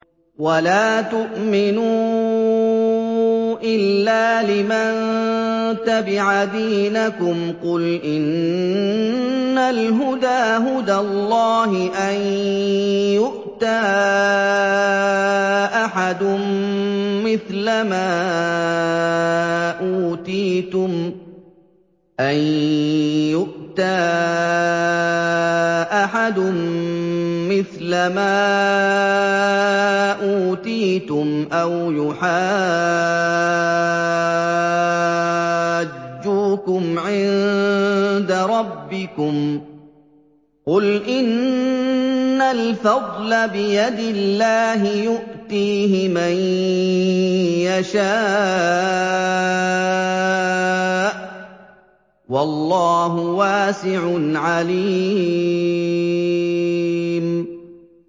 وَلَا تُؤْمِنُوا إِلَّا لِمَن تَبِعَ دِينَكُمْ قُلْ إِنَّ الْهُدَىٰ هُدَى اللَّهِ أَن يُؤْتَىٰ أَحَدٌ مِّثْلَ مَا أُوتِيتُمْ أَوْ يُحَاجُّوكُمْ عِندَ رَبِّكُمْ ۗ قُلْ إِنَّ الْفَضْلَ بِيَدِ اللَّهِ يُؤْتِيهِ مَن يَشَاءُ ۗ وَاللَّهُ وَاسِعٌ عَلِيمٌ